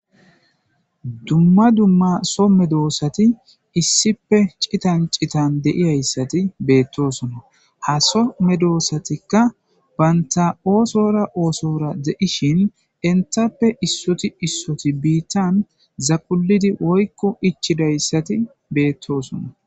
dumma dumma so medoossati issife citan citan de'iyayssati beettosona ha so medoossatikka baynta oosora oosora de'ishin entappe issoti issoti biittan zaqulidi woykko ichidayssati beettoosona